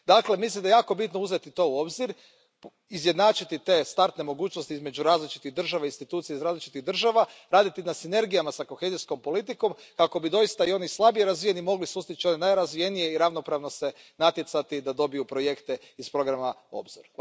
Dakle, mislim da je jako bitno uzeti to u obzir, izjednačiti te startne mogućnosti između različitih država i institucija iz različitih država, raditi na sinergijama s kohezijskom politikom kako bi doista i oni slabije razvijeni mogli sustići ove najrazvijenije i ravnopravno se natjecati da dobiju projekte iz programa Obzor.